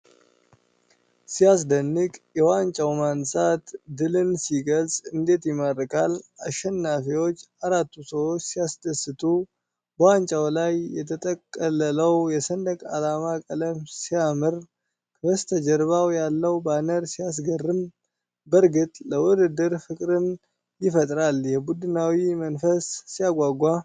ሲያስደንቅ! የዋንጫው ማንሳት ድልን ሲገልጽ እንዴት ይማርካል! አሸናፊዎቹ አራቱ ሰዎች ሲያስደስቱ! በዋንጫው ላይ የተጠቀለለው የሰንደቅ ዓላማ ቀለም ሲያምር! ከበስተጀርባ ያለው ባነር ሲያስገርም! በእርግጥ ለውድድር ፍቅርን ይፈጥራል! የቡድናዊ መንፈስ ሲያጓጓ!